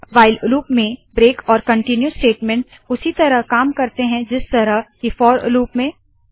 while loop में break और continue statements उसी तरह काम करते है जिस तरह की फोर लूप में